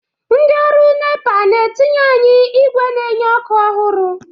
Ndị ọrụ NEPA na-etinyere anyị ígwè na-enye ọkụ ọhụrụ.